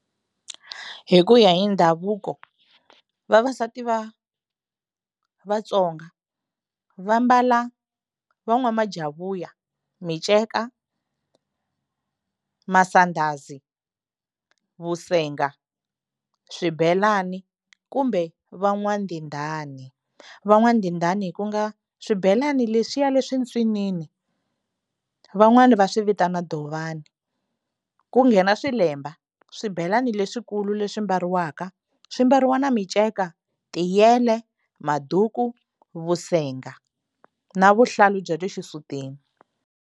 Hi ku ya hi ndhavuko vavasati va Vatsonga va mbala van'wamajavuya miceka masandhazi vusenga swibelani kumbe van'wandindani van'wandindani ku nga swibelani leswiya leswintsinini van'wani va swi vitana dovani ku nghena swilemba swibelani leswikulu leswi mbariwaka swi mbariwa na miceka tiyele maduku vusenga na vuhlalu bya le xisutini.